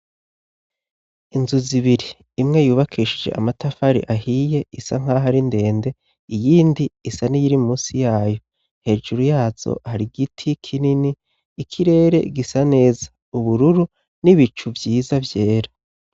Inzu zibiri, imwe yubakishije amatafari ahiye isa nk'aho ari ndende. Iyindi isa n'iyiri munsi yayo. Hejuru yazo hari igiti kinini, ikirere gisa neza:ubururu n'ibicu vyiza vyera.